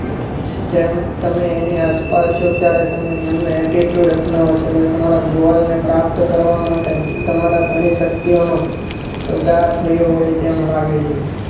તેમ તમે એની આસપાસ ત્યારે તમે એમને Attitude અપનાવો છો અને તમારા ગોલ ને પ્રાપ્ત કરવા માટે તમારા ધણી શક્તિઓનો સુધાર થયો હોય તેમ લાગે છે.